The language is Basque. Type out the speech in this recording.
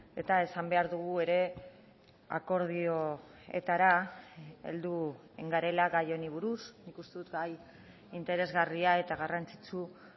eta esan behar dugu ere akordioetara heldu garela gai honi buruz nik uste dut gai interesgarria eta garrantzitsu